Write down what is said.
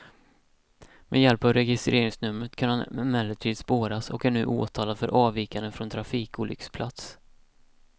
Med hjälp av registreringsnumret kunde han emellertid spåras och är nu åtalad för avvikande från trafikolycksplats.